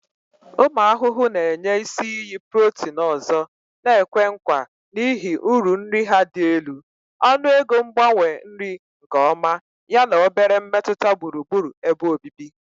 Ụmụ ahụhụ na-enye isi iyi protein ọzọ na-ekwe nkwa n'ihi uru nri ha dị elu, ọnụego mgbanwe nri nke ọma, yana obere mmetụta gburugburu ebe obibi.